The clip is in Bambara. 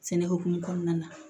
Sɛnɛ hokumu kɔnɔna na